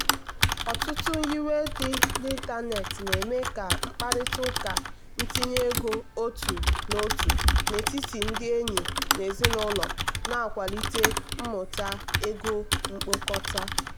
ọtụtụ nyiwe dị n'ịntanetị na-eme ka mkparịta ụka ntinye ego otu n'otu n'etiti ndị enyi na ezinụlọ na-akwalite mmuta ego mkpokọta.